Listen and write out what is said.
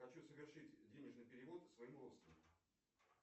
хочу совершить денежный перевод своему родственнику